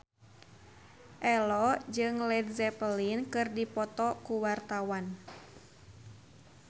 Ello jeung Led Zeppelin keur dipoto ku wartawan